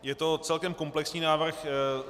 Je to celkem komplexní návrh.